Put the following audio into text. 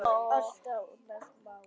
Allt annað mál.